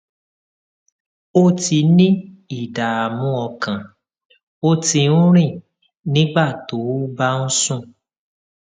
o ti ní ìdààmú ọkàn o ti ń rìn nígbà tó o bá ń sùn